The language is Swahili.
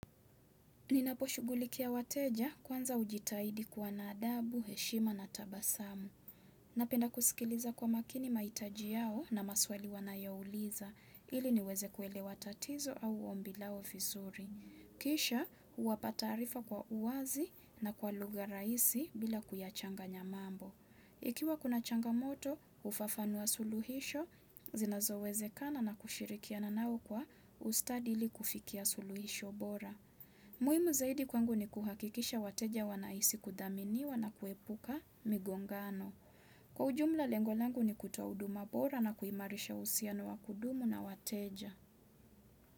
Ninapo shugulikia wateja kwanza hujitahidi kuwa na adabu, heshima na tabasamu. Napenda kusikiliza kwa makini mahitaji yao na maswali wanayouliza. Ili niweze kuelewa tatizo au ombi lao vizuri. Kisha, huwapa taarifa kwa uwazi na kwa lugha rahisi bila kuyachanganya mambo. Ikiwa kuna changamoto, hufafanua suluhisho, zinazo wezekana na kushirikiana nao kwa ustadi ili kufikia suluhisho bora. Muhimu zaidi kwangu ni kuhakikisha wateja wanahisi kudhaminiwa na kuepuka migongano. Kwa ujumla lengo langu ni kutoa huduma bora na kuimarisha usiano wa kudumu na wateja.